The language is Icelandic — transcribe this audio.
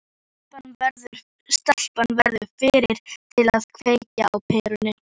Stelpan verður fyrri til að kveikja á perunni.